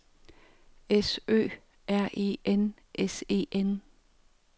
S Ø R E N S E N